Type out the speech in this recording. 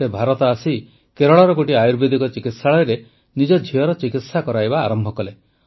ସେ ଭାରତ ଆସି କେରଳର ଗୋଟିଏ ଆୟୁର୍ବେଦିକ ଚିକିତ୍ସାଳୟରେ ନିଜ ଝିଅର ଚିକିତ୍ସା କରାଇବା ଆରମ୍ଭ କଲେ